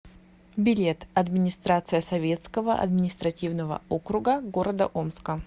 билет администрация советского административного округа г омска